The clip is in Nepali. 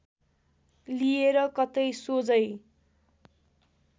लिएर कतै सोझै